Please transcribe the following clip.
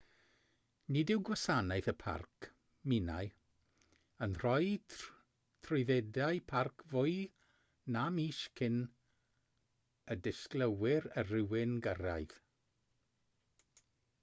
nid yw gwasanaeth y parc minae yn rhoi trwyddedau parc fwy na mis cyn y disgwylir i rywun gyrraedd